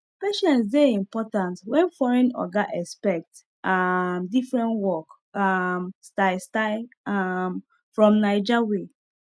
patience dey important when foreign oga expect um different work um style style um from naija way